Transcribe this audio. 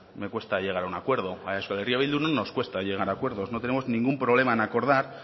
me cuesta llegar a un acuerdo a euskal herria bildu no nos cuesta llegar a acuerdos no tenemos ningún problema en acordar